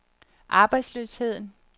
arbejdsløsheden